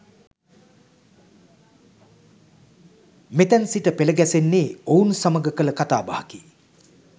මෙතැන් සිට පෙළ ගැසෙන්නේ ඔවුන් සමග කළ කතා බහකි.